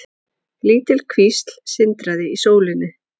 Lítil kvísl sindraði í sólinni.